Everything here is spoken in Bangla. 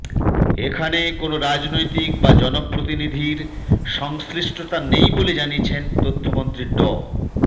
এখানে কোন রাজনৈতিক বা জনপ্রতিনিধির সংশ্লিষ্টতা নেই বলে জানিয়েছেন তথ্যমন্ত্রী ড